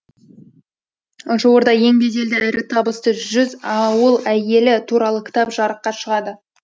жуырда ең беделді әрі табысты жүз ауыл әйелі туралы кітап жарыққа шағады